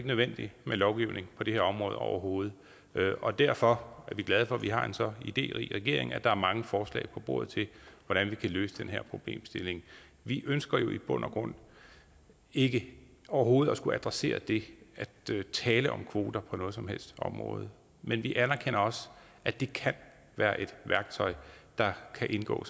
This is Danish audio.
nødvendigt med lovgivning på det her område overhovedet og derfor er vi glade for at vi har en så iderig regering at der er mange forslag på bordet til hvordan vi kan løse den her problemstilling vi ønsker jo i bund og grund ikke overhovedet at skulle adressere det her ved at tale om kvoter på noget som helst område men vi anerkender også at det kan være et værktøj der kan indgå